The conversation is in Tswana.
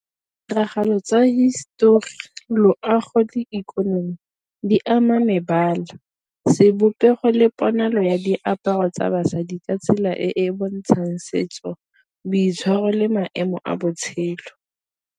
Ditiragalo tsa hisetori loago le ikonomi di ama mebala sebopego le ponalo ya diaparo tsa basadi ka tsela e e bontshang setso, boitshwaro le maemo a botshelo.